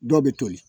Dɔw bɛ toli